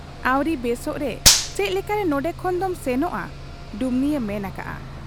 ᱼᱼᱟᱹᱣᱨᱤ ᱵᱮᱥᱚᱜ ᱨᱮ ᱪᱮᱫ ᱞᱮᱠᱟᱨᱮ ᱱᱚᱱᱰᱮ ᱠᱷᱚᱱ ᱫᱚᱢ ᱥᱮᱱᱚᱜ ᱟ ? ᱰᱩᱢᱱᱤᱭᱮ ᱢᱮᱱ ᱟᱠᱟᱜ ᱟ ᱾